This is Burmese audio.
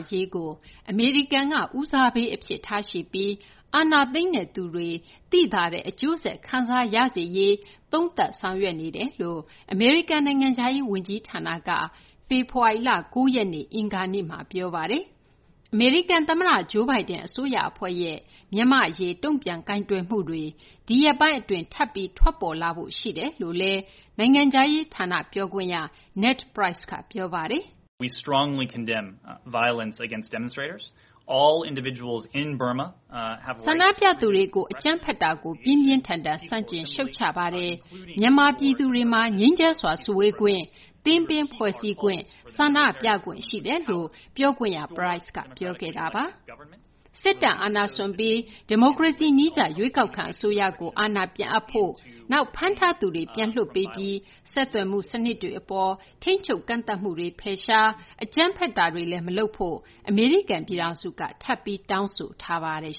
ရေးကို အမေရိကန်က ဦးစားပေး အဖြစ်ထားရှိပြီး အာဏာသိမ်းတဲ့သူတွေ သိသာတဲ့ အကျိုးဆက် ခံစားရစေရေး အတွက် သုံးသပ် ဆောင်ရွက်နေကြောင်း အမေရိကန် နိုင်ငံခြားရေး ဝန်ကြီးဌာနက ဖေဖော်ဝါရီလ ၉ ရက်နေ့ အင်္ဂါနေ့မှာ ပြောဆိုလိုက်ပါတယ်။ အမေရိကန် သမ္မတ Joe Biden အစိုးရ အဖွဲ့ရဲ့ မြန်မာ အရေး တုံ့ပြန်ကိုင်တွယ်မှုတွေ ဒီရက်ပိုင်း အတွင်း ထပ်ပြီး ထွက်ပေါ်လာဖို့ ရှိတယ်လို့လည်း နိုင်ငံခြားရေး ဌာန ပြောခွင့်ရ Ned Price က ပြောပါတယ်။ “ဆန္ဒပြသူတွေကို အကြမ်းဖက်မှုကို ပြင်းပြင်းထန်ထန် ဆန့်ကျင် ရှုတ်ချပါတယ်။ မြန်မာ ပြည်သူတွေမှာ ငြိမ်းချမ်းစွာ စုဝေးခွင့်၊ သင်းပင်းဖွဲ့စည်းခွင့် ဆန္ဒပြခွင့် ရှိတယ်” လို့ ပြောခွင့်ရ Price ပြောခဲ့တာပါ။ စစ်တပ်အာဏာစွန့်ပြီး ဒီမိုကရေစီ နည်းကျ ရွေးကောက်ခံ အစိုးရကို အာဏာ ပြန်အပ်ရေး၊ ဖမ်းထားသူတွေ ပြန်လွှတ်ပေးရေး၊ ဆက်သွယ်မှု စနစ်တွေ အပေါ် ထိန်းချုပ်ကန့်သတ်မှုတွေ ဖယ်ရှားပြီး အကြမ်းဖက်တာတွေ မလုပ်ဖို့လည်း အမေရိကန် ပြည်ထောင်စုက ထပ်ပြီး တောင်းဆိုထားပါတယ်